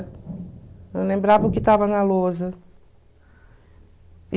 Eu lembrava o que tava na lousa.